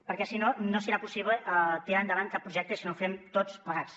perquè si no no serà possible tirar endavant cap projecte si no ho fem tots plegats